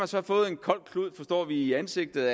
så fået en kold klud i ansigtet